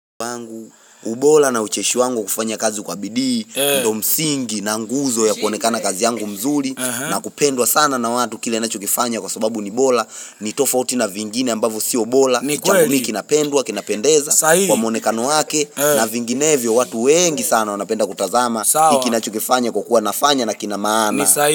Ubora na ucheshi wangu kufanya kazi kwa bidii, ndio msingi na nguzo ya kuonekana kazi yangu mzuri na kupendwa sana na watu kile ninachokifanya kwa sababu ni bora ni tofauti na vingine ambavyo sio bora changu hiki kinapendwa, kinapendeza kwa muonekano wake na vinginevyo watu wengi sana wanapenda kutazama kinachokifanya kwa kuwa nafanya na kina maana.